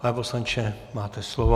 Pane poslanče, máte slovo.